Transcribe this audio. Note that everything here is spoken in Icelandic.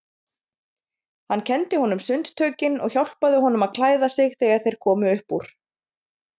Hann kenndi honum sundtökin og hjálpaði honum að klæða sig þegar þeir komu upp úr.